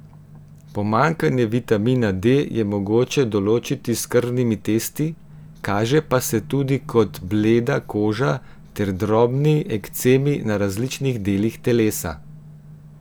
Pomanjkanje vitamina D je mogoče določiti s krvnimi testi, kaže pa se tudi kot bleda koža ter drobni ekcemi na različnih delih telesa.